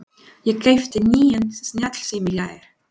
Ég keypti nýjan snjallsíma í gær.